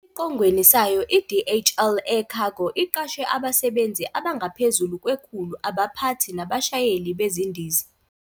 Esiqongweni sayo, i-DHL Air Cargo iqashe abasebenzi abangaphezu kwekhulu, abaphathi nabashayeli bezindiza.